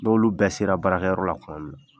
N'olu bɛɛ sera barakɛyɔrɔ la kuma min na